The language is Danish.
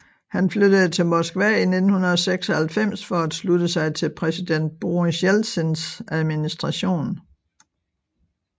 Han flyttede til Moskva i 1996 for at slutte sig til præsident Boris Jeltsins administration